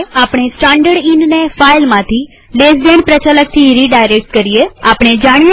આપણે સ્ટાનડર્ડ ઈનને ફાઈલમાંથી ltડાબી તરફના ખૂણાવાળા કૌંસ પ્રચાલકથી રીડાયરેક્ટ કરીએજોઈએ કેવી રીતે થાય છે